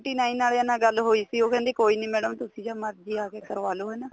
nine ਵਾਲਿਆ ਨਾਲ ਗੱਲ ਹੋਈ ਸੀ ਉਹ ਕਹਿੰਦੇ madam ਤੁਸੀਂ ਜੋ ਮਰਜੀ ਆ ਕੇ ਕਰਵਾ ਲੋ ਇਹਨਾ ਤੋਂ